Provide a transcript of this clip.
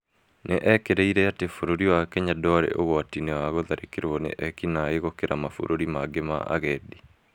Nĩ ekĩrĩ-ire atĩ bũrũri wa Kenya ndwarĩ ũgwati-inĩ wa gũtharĩkĩrwo nĩ ekinaĩ gũkĩra mabũrũri mangĩ ma agendi.